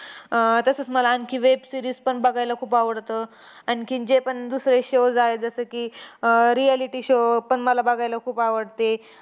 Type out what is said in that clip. अह तसंच मला आणखी web series पण बघायला खूप आवडतं. आणखीन जेपण दुसरे shows आहेत, जसे की, अह reality show पण बघायला खूप आवडते.